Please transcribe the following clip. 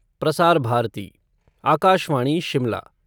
Prasar Bharati Akashvani Shimla